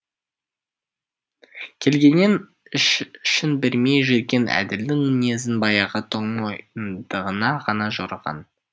келгеннен ішін бермей жүрген әділдің мінезін баяғы тоңмойындығына ғана жорыған